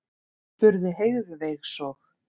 spurði Heiðveig svo.